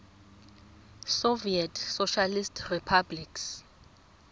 soviet socialist republics